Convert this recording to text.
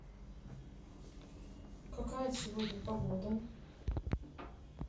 какая сегодня погода